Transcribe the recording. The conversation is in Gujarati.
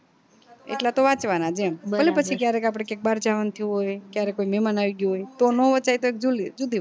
એટલા તો વ્વાચ્વાનાજ એમ અને પછી ક્યારેક આપડે ક્યાંક બાર જવાનું થયું હોય ક્યારે કોઈ મેમાનઆવી ગયું હોય તો નો વચાય તો એક